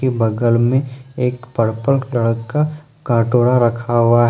बगल में एक पर्पल कलर का कटोरा रखा हुआ है।